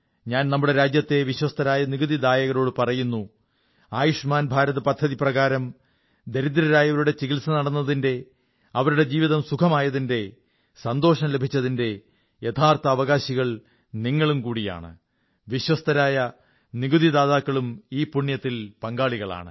ഞാൻ നമ്മുടെ രാജ്യത്തെ വിശ്വസ്തരായ നികുതിദായകരോടു പറയുന്നു ആയുഷ്മാൻ ഭാരത് പദ്ധതിപ്രകാരം ദരിദ്രരായയവരുടെ ചികിത്സ നടന്നതിന്റെ അവരുടെ ജീവതം സുഖമായതിന്റെ സന്തോഷം ലഭിച്ചതിന്റെ യഥാർഥ അവകാശികൾ നിങ്ങളും കൂടിയാണ് വിശ്വസ്ഥരായ നികുതിദായകരും ഈ പുണ്യത്തിന് പങ്കാളികളാണ്